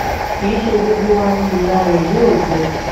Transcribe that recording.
kì í ṣe gbogbo wa ni ìyá rẹ̀ yóò jẹ́ ni